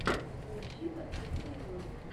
поищи последние ролики